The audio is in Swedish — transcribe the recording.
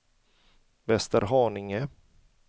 Västerhaninge